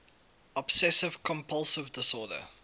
obsessive compulsive disorder